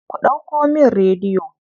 Ku ɗauko min rediyo.